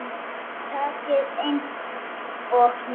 Tækið eins og nýtt.